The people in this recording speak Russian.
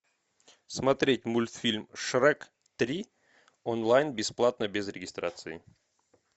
смотреть мультфильм шрек три онлайн бесплатно без регистрации